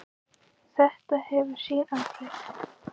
Þetta hefur sín áhrif.